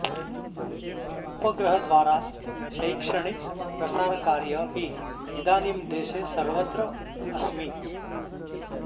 उपहग्रह द्वारा शैक्षणिक प्रसर कार्य अपि इदानीं दॆशॆ सर्वत्र असमि